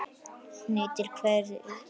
Hún nýtir hveri í